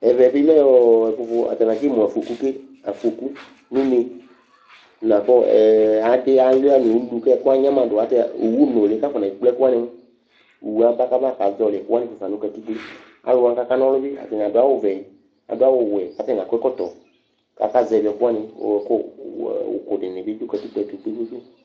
Ɛvɛ bɩ lɛ ɔ ɛkʋfʋ atanɩ atsɩmʋ afoku ke, afoku nʋ une la kʋ ɛ adɩ alʋɩa nʋ ulu kʋ ɛkʋ anyama dʋ Ɛ owunʋlɩ kʋ afɔnekple ɛkʋ wanɩ mʋa, owu yɛ aba kʋ abakazɔɣɔlɩ ɛkʋ wanɩ fue fa nʋ katikpo Alʋ wanɩ kʋ akana ɔlʋ bɩ, atanɩ adʋ awʋvɛ, adʋ awʋwɛ kʋ atanɩ akɔ ɛkɔtɔ kʋ akazɛvɩ ɛkʋ wanɩ kʋ ɔ ɔ ʋkʋ dɩnɩ dʋ katikpo yɛ tʋ kpe-kpe-kpe